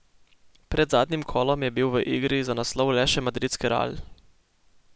Pred zadnjim kolom je bil v igri za naslov le še madridski Real.